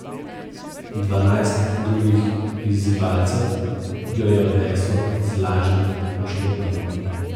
Dvanajst drugih izzivalcev jo je odneslo z lažjimi poškodbami.